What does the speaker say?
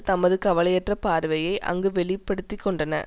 தமது கவலையற்ற பார்வையை அங்கு வெளி படுத்தி கொண்டன